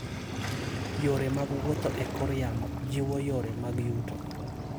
Yore mag wuoth e kor yamo jiwo yore mag yuto.